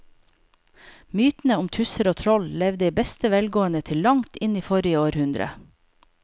Mytene om tusser og troll levde i beste velgående til langt inn i forrige århundre.